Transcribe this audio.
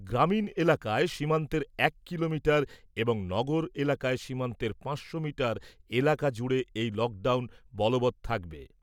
গ্রামীণ এলাকায় সীমান্তের এক কিলোমিটার এবং নগর এলাকায় সীমান্তের পাঁচশো মিটার এলাকা জুড়ে এই লক ডাউন বলবৎ থাকবে।